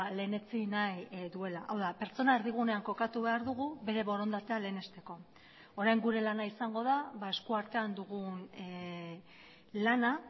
lehenetsi nahi duela hau da pertsona erdigunean kokatu behar dugu bere borondatea lehenesteko orain gure lana izango da eskuartean dugun lana